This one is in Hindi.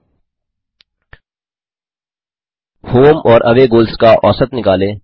2होम और अवे गोल्स का औसत निकालें